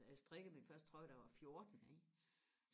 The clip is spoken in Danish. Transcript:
så jeg strikkede min første trøje da jeg var fjorten ikke